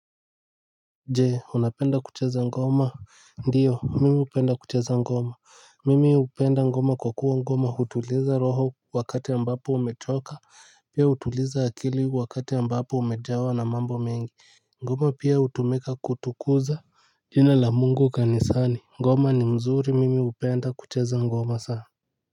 Jee unapenda kucheza ngoma ndiyo mimi hupenda kucheza ngoma mimi hupenda ngoma kwa kuwa ngoma hutuliza roho wakati ambapo umechoka pia hutuliza akili wakati ambapo umejawa na mambo mengi. Ngoma pia hutumika kutukuza jina la mungu kanisani ngoma ni mzuri mimi hupenda kucheza ngoma sana Muzika.